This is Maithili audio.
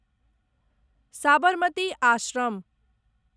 साबरमती आश्रम